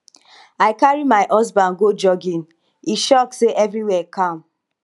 i carry my husband go jogging he shock say everywhere calm